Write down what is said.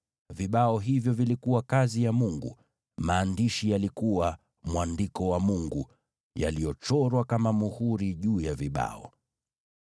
Vibao hivyo vilikuwa kazi ya Mungu; maandishi yalikuwa mwandiko wa Mungu, yaliyochorwa kama muhuri juu ya vibao.